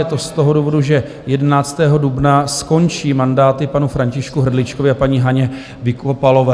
Je to z toho důvodu, že 11. dubna skončí mandáty panu Františku Hrdličkovi a paní Haně Vykopalové.